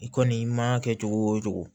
I kɔni i ma kɛ cogo o cogo